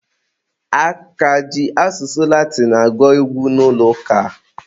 A ka ji asụsụ Latinụ agụ egwu n'ụlọ ụka?